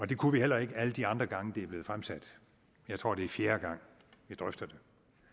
det kunne vi heller ikke alle de andre gange det blev fremsat jeg tror det er fjerde gang vi drøfter det